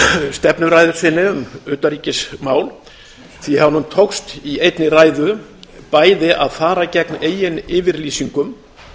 stefnuræðu sinni um utanríkismál því að honum tókst í einni ræðu bæði að fara gegn eigin yfirlýsingum